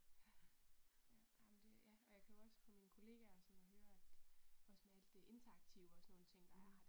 Ja, ha, ej men det ja, jeg kan jo også på min kollegaer og det sådan høre at også med alt det interaktive og sådan nogle ting der er her